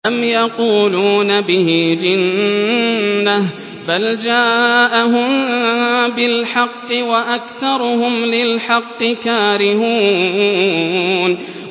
أَمْ يَقُولُونَ بِهِ جِنَّةٌ ۚ بَلْ جَاءَهُم بِالْحَقِّ وَأَكْثَرُهُمْ لِلْحَقِّ كَارِهُونَ